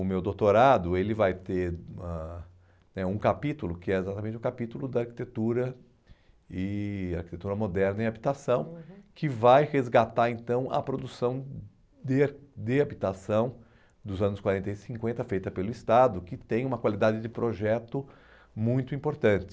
O meu doutorado vai ele ter uma né um capítulo, que é exatamente o capítulo da arquitetura e arquitetura moderna em habitação, uhum, que vai resgatar então a produção de de habitação dos anos quarenta e cinquenta, feita pelo Estado, que tem uma qualidade de projeto muito importante.